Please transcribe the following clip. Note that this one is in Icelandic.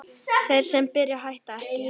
Þeir sem byrja hætta ekki!